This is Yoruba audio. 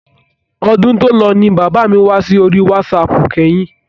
Ọdún tòlọ ni bàbá mi wá sí orí wásaàpù kẹ́yìn.